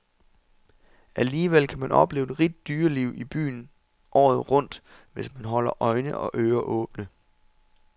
Alligevel kan man opleve et rigt dyreliv i byen året rundt, hvis man holder øjne og ører åbne.